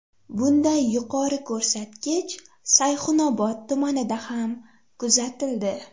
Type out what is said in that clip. Bunday yuqori ko‘rsatkich Sayxunobod tumanida ham kuzatildi.